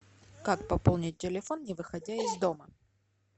как пополнить телефон не выходя из дома